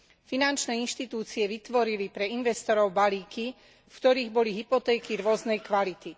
Finančné inštitúcie vytvorili pre investorov balíky, v ktorých boli hypotéky rôznej kvality.